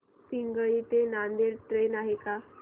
पिंगळी ते नांदेड ट्रेन आहे का